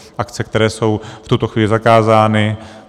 Akce, které jsou v tuto chvíli zakázány.